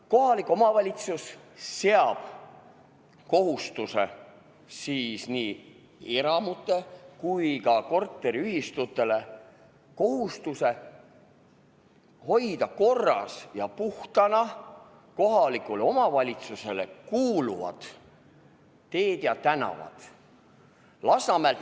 Kohalik omavalitsus seab kohustuse nii eramutele kui ka korteriühistutele: kohustuse hoida korras ja puhtana kohalikule omavalitsusele kuuluvad teed ja tänavad.